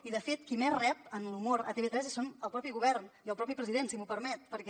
i de fet qui més rep en l’humor a tv3 són el propi govern i el propi president si m’ho permet perquè